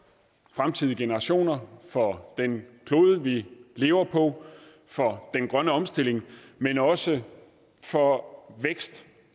fremtidige generationer for den klode vi lever på og for den grønne omstilling men også for vækst